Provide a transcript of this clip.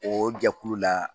O jɛkulu la